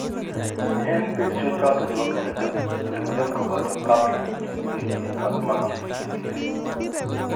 En betusiek chata chebo myonitok , sirunet koboto papules chemengech ak macules chebiriren